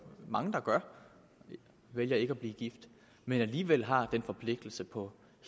mange der vælger ikke at blive gift men alligevel har den forpligtelse på